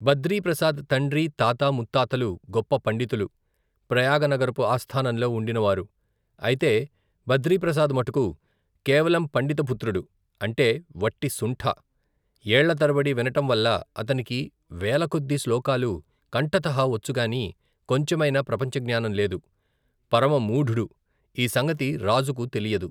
బద్రీప్రసాద్ తండ్రి, తాత, ముత్తాతలు, గొప్ప పండితులు, ప్రయాగనగరపు ఆస్థానంలో ఉండినవారు, అయితే, బద్రీప్రసాద్ మటుకు, కేవలం పండిత పుత్రుడు, అంటే, వట్టి శుంఠ, ఏళ్ళతరబడి వినటంవల్ల, అతనికి, వేలకొద్దీ శ్లోకాలు, కంఠతః వచ్చుగాని, కొంచెమైనా, ప్రపంచజ్ఞానం లేదు, పరమమూఢుడు, ఈ సంగతి రాజుకు తెలియదు.